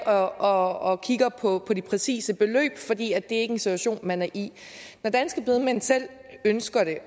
og kigger på det præcise beløb fordi er en situation man er i når danske bedemænd selv ønsker at